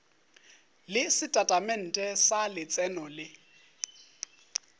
le setatamente sa letseno le